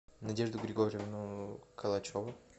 надежду григорьевну калачеву